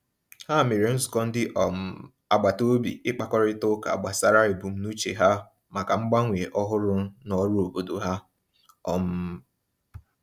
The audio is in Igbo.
Ha mere nzukọ ndị um agbataobi ịkpakọrịta ụka gbasara ebumnuche ha maka mgbanwe ọhụrụ n'ọrụ obodo ha. um